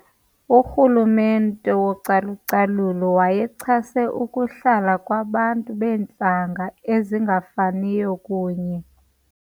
Urhulumente wocalucalulo wayechase ukuhlala kwabantu beentlanga ezingafaniyo kunye.